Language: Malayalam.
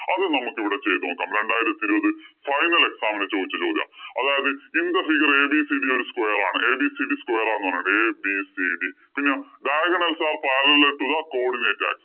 അത് നമ്മക്ക് ഇവിടെ ചെയ്തു നോക്കാം. രണ്ടായിരത്തി ഇരുപത് final exam ഇന് ചോദിച്ച ചോദ്യാ. അതായത്, In the figure ABCD ഒരു square ആണ്. ABCD square ആണ് എന്ന് പറഞ്ഞിട്ടുണ്ട്. ABCD പിന്നെ diagonals are parallel are codinate axis